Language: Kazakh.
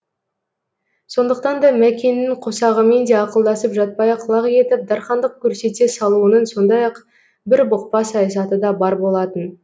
сондықтан да мәкеңнің қосағымен де ақылдасып жатпай ақ лақ етіп дарқандық көрсете салуының сондай ақ бір бұқпа саясаты да бар болатын